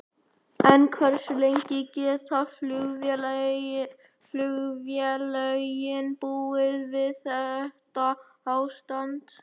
En hversu lengi geta flugfélögin búið við þetta ástand?